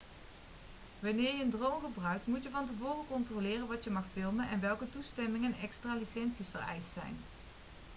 wanneer je een drone gebruikt moet je van tevoren controleren wat je mag filmen en welke toestemmingen en extra licenties vereist zijn